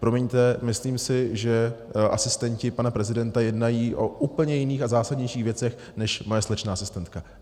Promiňte, myslím si, že asistenti pana prezidenta jednají o úplně jiných a zásadnějších věcech než moje slečna asistentka.